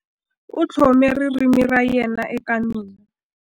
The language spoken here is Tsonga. U tlhome ririmi ra yena eka mina.